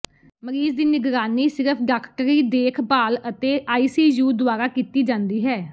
ਮਰੀਜ਼ ਦੀ ਨਿਗਰਾਨੀ ਸਿਰਫ ਡਾਕਟਰੀ ਦੇਖਭਾਲ ਅਤੇ ਆਈਸੀਯੂ ਦੁਆਰਾ ਕੀਤੀ ਜਾਂਦੀ ਹੈ